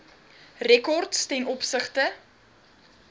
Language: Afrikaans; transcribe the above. rekords ten opsigte